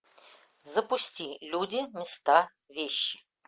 запусти люди места вещи